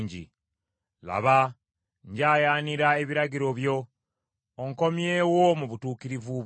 Laba, njayaanira ebiragiro byo; onkomyewo mu butuukirivu bwo.